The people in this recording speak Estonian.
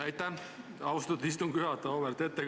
Aitäh, austatud istungi juhataja!